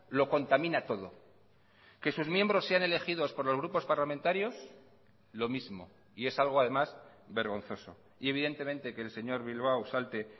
lo contamina todo que sus miembros sean elegidos por los grupos parlamentarios lo mismo y es algo además vergonzoso y evidentemente que el señor bilbao salte